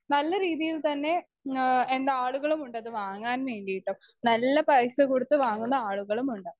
Speaker 2 നല്ലരീതിയിൽത്തന്നെ ആഹ് എന്നാളുകളുമുണ്ടത് വാങ്ങാൻവേണ്ടിയിട്ടും നല്ല പൈസകൊടുത്ത് വാങ്ങുന്ന ആളുകളുമുണ്ട്.